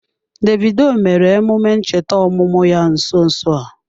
Davidoo mere emume ncheta ọmụmụ ya nso nso a.